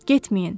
Getməyin.